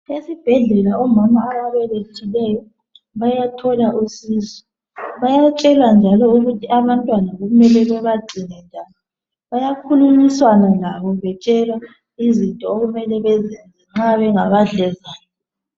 Esibhedlela omama ababelethileyo bayathola usizo bayatshelwa njalo ukuthi abantwana kumele bebagcine njani bayakhulumisana labo betshelwa izinto okumele bazenze nxa bengabadlezane